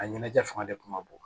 A ɲɛnajɛ fanga de kun ka bon